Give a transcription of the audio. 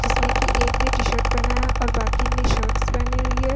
जिसमे कि एक ने टी शर्ट पहना है और बाकी ने शर्ट्स पहनी हुई है।